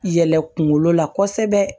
Yɛlɛ kunkolo la kosɛbɛ